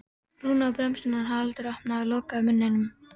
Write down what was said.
Rúna á bremsuna en Haraldur opnaði og lokaði munninum.